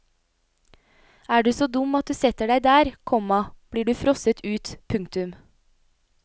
Er du så dum at du setter deg der, komma blir du frosset ut. punktum